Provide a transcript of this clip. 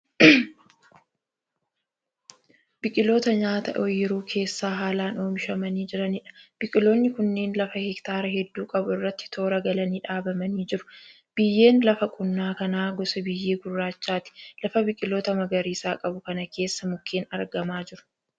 Biqiloota nyaataa oyiruu keessa haalaan oomishamanii jiraniidha. Biqiloonni kunneen lafa hektaara hedduu qabu irratti toora galanii dhaabamanii jiru. Biyyeen lafa qonnaa kanaa gosa biyyee gurraachaati. Lafa biqiloota magariisa qabu kana keessa mukeen argamaa jiru.